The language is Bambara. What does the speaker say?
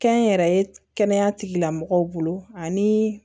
Kɛnyɛrɛye kɛnɛya tigilamɔgɔw bolo ani